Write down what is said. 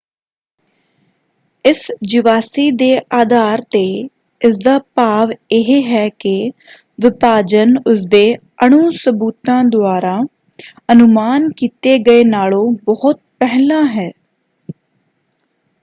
"ਇਸ ਜੀਵਾਸੀ ਦੇ ਅਧਾਰ ਤੇ ਇਸਦਾ ਭਾਵ ਇਹ ਹੈ ਕਿ ਵਿਭਾਜਨ ਉਸਦੇ ਅਣੂ ਸਬੂਤਾਂ ਦੁਆਰਾ ਅਨੁਮਾਨ ਕੀਤੇ ਗਏ ਨਾਲੋਂ ਬਹੁਤ ਪਹਿਲਾਂ ਹੈ